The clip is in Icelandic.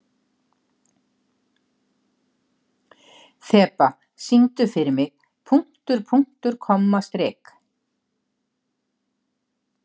Þeba, syngdu fyrir mig „Punktur, punktur, komma, strik“.